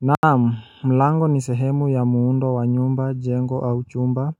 Naamu mlango ni sehemu ya muundo wa nyumba jengo au chumba